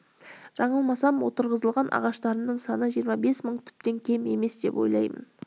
жаңылмасам отырғызылған ағаштарымның саны жиырма бес мың түптен кем емес деп ойлаймын